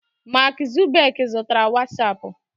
Mark Zuckerberg zụtara wasapu